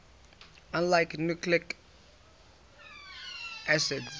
unlike nucleic acids